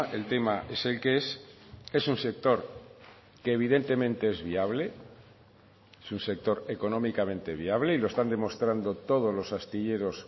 el tema es el que es es un sector que evidentemente es viable es un sector económicamente viable y lo están demostrando todos los astilleros